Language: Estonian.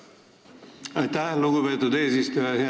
Aitäh, lugupeetud eesistuja!